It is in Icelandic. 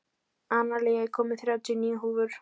Analía, ég kom með þrjátíu og níu húfur!